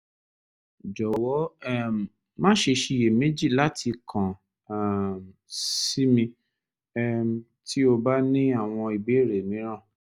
jọwọ um maṣe ṣiyemeji lati kan um si mi um ti o ba ni awọn ibeere miiran